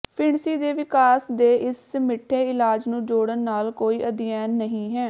ਫਿਣਸੀ ਦੇ ਵਿਕਾਸ ਦੇ ਇਸ ਮਿੱਠੇ ਇਲਾਜ ਨੂੰ ਜੋੜਨ ਨਾਲ ਕੋਈ ਅਧਿਐਨ ਨਹੀਂ ਹੈ